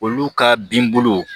Olu ka bin bolo